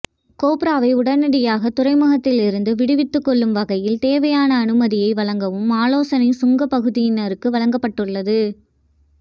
கொப்பராவை உடனடியாக துறைமுகத்திலிருந்து விடுவித்துக் கொள்ளும் வகையில் தேவையான அனுமதியை வழங்கவும் ஆலோசனை சுங்கப் பகுதியினருக்கு வழங்கப்பட்டுள்ளது